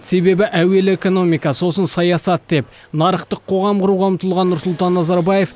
себебі әуелі экономика сосын саясат деп нарықтық қоғам құруға ұмтылған нұрсұлтан назарбаев